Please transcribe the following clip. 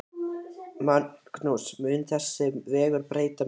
Magnús: Mun þessi vegur breyta miklu?